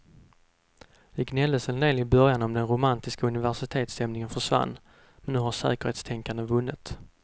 Det gnälldes en del i början om att den romantiska universitetsstämningen försvann, men nu har säkerhetstänkandet vunnit.